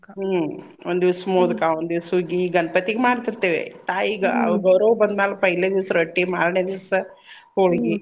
ಹ್ಮ್ ಒಂದ್ದೀವ್ಸ್ ಮೋದ್ಕಾ, ಒಂದ್ ದೀವ್ಸ್ ಹುಗ್ಗಿ ಗಣ್ಪತಿಗ್ ಮಾಡ್ತೀರ್ತೇವಿ ತಾಯಿಗ. ಈಗ ಅವ್ರ ಗೌರವ್ವ ಬಂದ್ ಮ್ಯಾಲ್ पहले ದೀವ್ಸ್ ರೊಟ್ಟಿ ಮಾರ್ನೆ ದೀವ್ಸ್ ಹೋಳ್ಗಿ .